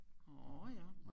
Orh ja